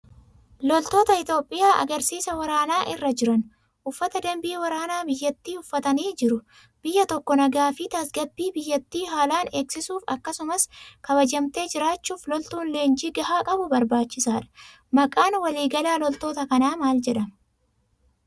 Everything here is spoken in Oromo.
Loltoota Itoophiyaa agarsiisa waraanaa irra jiran. Uffata danbii waraanaa biyyattii uffatanii jiru. Biyyi tokko nagaa fi tasgabbii biyyattii haalaan eegsisuuf akkasumas kabajamtee jiraachuuf loltuun leenjii gahaa qabu barbaachisaadha. Maqaan waliigalaa loltoota kanaa maal jedhama?